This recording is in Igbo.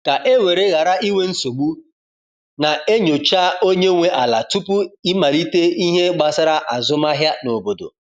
ka e were ghara inwe nsogbu, na e nyocha onye nwe ala tupu i malite ihe gbasara azụmahịa n’obodo